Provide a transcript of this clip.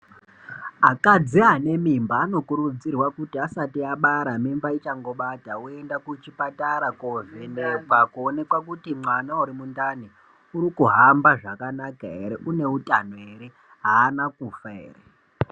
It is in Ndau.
Akadzi ane mimba anokurudzirwa kuti asati abara mimba ichangobata voenda kuchipatara kovhenekwa voonekwa kuti mwana ari ndani ariku hamba zvakanaka here une utano here hana kufa here.